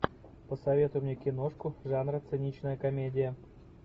посоветуй мне киношку жанра циничная комедия